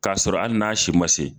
K'a sɔrɔ hali n'a si ma se.